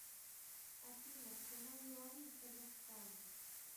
афина цена юаней в казахстане